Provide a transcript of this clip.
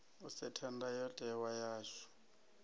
u setha ndayo tewa yashu